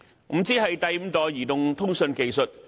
5G 是第五代移動通訊技術。